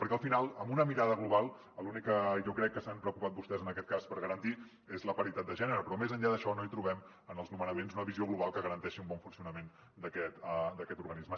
perquè al final amb una mirada global l’únic que jo crec que s’han preocupat vostès en aquest cas garantir és la paritat de gènere però més enllà d’això no hi trobem en els nomenaments una visió global que garanteixi un bon funcionament d’aquest organisme